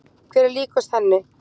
Hver er líkust henni?